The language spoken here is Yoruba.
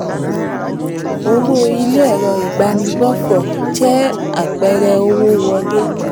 owó ilé ẹ̀rọ ìbánigbófò jẹ́ apẹẹrẹ owó wọlé.